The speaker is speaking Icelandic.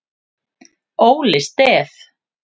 Óli Stef